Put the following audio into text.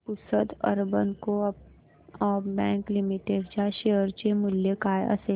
Pusad urban co-op bank limited च्या share चे मूल्य काय असेल